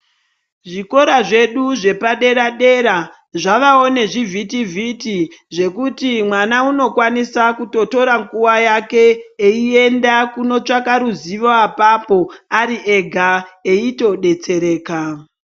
Zvikora zvedu zvepadera dera zvavewo nezvivhiti vhiti zvekuti mwana anokwanise kutotora nguwa yake eiyenda kunotsvaka ruzivo apapo ariega eitodetsereka.